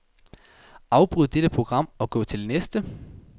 Afbryd dette program og gå til næste.